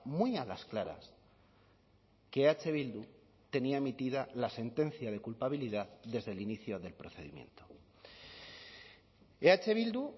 muy a las claras que eh bildu tenía emitida la sentencia de culpabilidad desde el inicio del procedimiento eh bildu